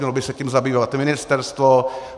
Mělo by se tím zabývat ministerstvo.